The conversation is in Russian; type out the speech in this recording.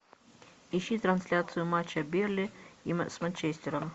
ищи трансляцию матча бернли с манчестером